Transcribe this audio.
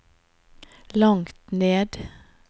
langt ned